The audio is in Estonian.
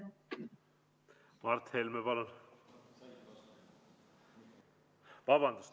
Mart Helme, palun!